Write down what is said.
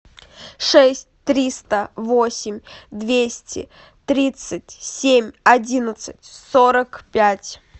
шесть триста восемь двести тридцать семь одиннадцать сорок пять